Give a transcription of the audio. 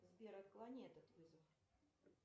сбер отклони этот вызов